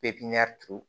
Pepiniyɛri turu